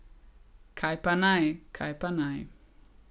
Kaj pa naj, kaj pa naj.